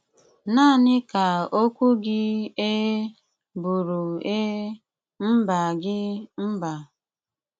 Náaní ká ókwú gí Éé bụ́rụ Éé, Mbá gí, Mbá.